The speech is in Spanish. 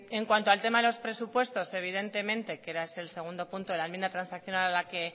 en cuanto al tema de los presupuestos evidentemente que era ese el segundo punto de la enmienda transaccional a la que